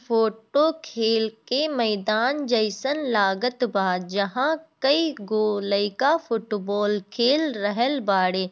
Photo खेल के मैदान जइसन लगात बा जहाँ कै गो लइका फुटबोल खेल रहल वाडे।